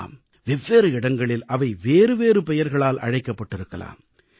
ஆம் வெவ்வேறு இடங்களில் அவை வேறுவேறு பெயர்களால் அழைக்கப்பட்டிருக்கலாம்